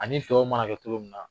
Ani mana kɛ cogo min na.